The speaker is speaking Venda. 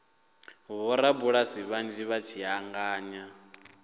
vhorabulasi vhanzhi vha tshi angana